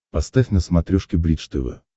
поставь на смотрешке бридж тв